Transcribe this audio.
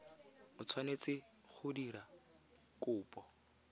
o tshwanetse go dira kopo